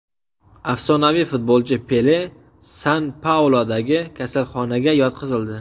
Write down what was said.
Afsonaviy futbolchi Pele San-Pauludagi kasalxonaga yotqizildi.